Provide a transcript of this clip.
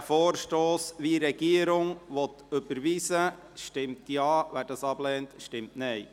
Wer diesen Vorstoss überweisen will, wie die Regierung beantragt, stimmt Ja, wer dies ablehnt, stimmt Nein.